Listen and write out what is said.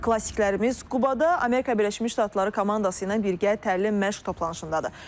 Klassiklərimiz Qubada Amerika Birləşmiş Ştatları komandası ilə birgə təlim məşq toplanışındadır.